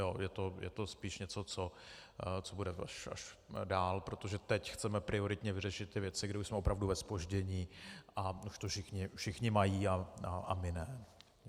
Je to spíš něco, co bude až dál, protože teď chceme prioritně vyřešit ty věci, kdy už jsme opravdu ve zpoždění a už to všichni mají a my ne.